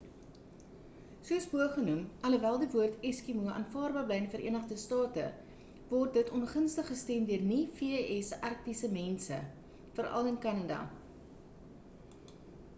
soos bo genoem alhoewel die woord eskimo” aanvaarbaar bly in die verenigde state word dit ongunstig gestem deur nie-v.s. arktiese mense veral in kanada